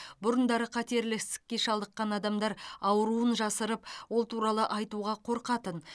бұрындары қатерлі ісікке шалдыққан адамдар ауруын жасырып ол туралы айтуға қорқатын